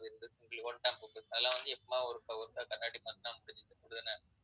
அதெல்லாம் வந்து எப்போவாது ஒரு~ ஒருக்கா கண்ணாடி மாத்திட்டா